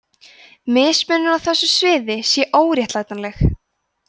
mismunun á þessu sviði sé óréttlætanleg